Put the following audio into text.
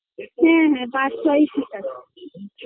ওই ছয় সাত এ ছয় করবো না ম পাঁচ পাঁচ ছয়